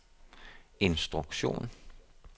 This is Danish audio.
instruktion